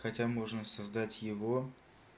хотя можно создать его